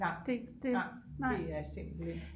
nej det er simpelthen